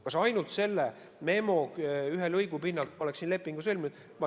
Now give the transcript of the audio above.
Kas ma ainult selle ühe memolõigu pinnalt oleksin lepingu sõlminud?